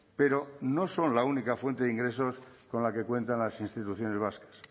pero no son la única fuente de ingresos con la que cuentan las instituciones vascas